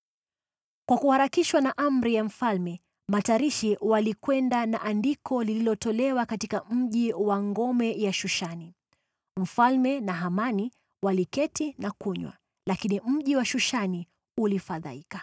Kwa kuharakishwa na amri ya mfalme, matarishi walikwenda na andiko lilitolewa katika mji wa ngome ya Shushani. Mfalme na Hamani waliketi na kunywa, lakini mji wa Shushani ulifadhaika.